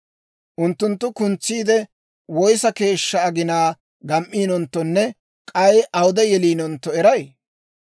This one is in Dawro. Unttunttu kuntsiidde, woyissa keeshshaa aginaa gam"iinonttonne k'ay awude yeliinontto eray?